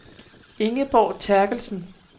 Ingeborg Terkelsen